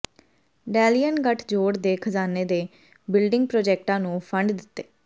ਡੈਲੀਅਨ ਗੱਠਜੋੜ ਦੇ ਖਜਾਨੇ ਨੇ ਬਿਲਡਿੰਗ ਪ੍ਰਾਜੈਕਟਾਂ ਨੂੰ ਫੰਡ ਦਿੱਤੇ